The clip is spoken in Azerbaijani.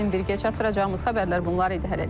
bizim birgə çatdıracağımız xəbərlər bunlar idi hələlik.